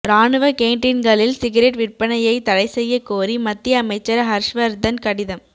ராணுவ கேண்டீன்களில் சிகரெட் விற்பனையை தடை செய்ய கோரி மத்திய அமைச்சர் ஹர்ஷ்வர்தன் கடிதம்